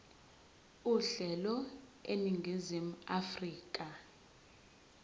uhlelo eningizimu afrika